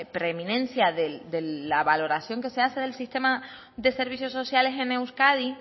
preeminencia de la valoración que se hace del sistema de servicios sociales en euskadi